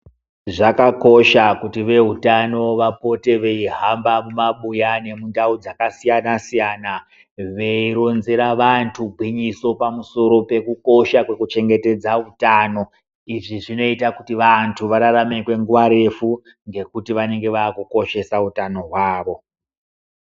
Zvakakosha kuti veutano vapote veihamba mumabuya nemundau dzakasiyana-siyana veironzera vantu gwinyiso pamusoro pekukosha kwekuchengetedza utano. Izvi zvinoita kuti vantu vararame kwenguva refu ngekuti vanenge vaakukoshesa utano hwavo.